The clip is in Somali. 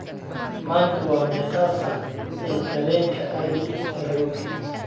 maanta waa meeqa saac ee tareenka aadi nairobi